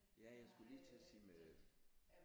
Ja jeg skulle lige til at sige med øh